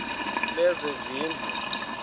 lezezindlu